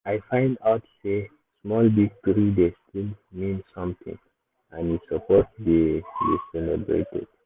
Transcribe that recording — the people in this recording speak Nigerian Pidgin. i find out sey small victory dey still mean something and e suppose dey dey celebrated.